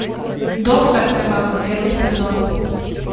доктор живаго первый сезон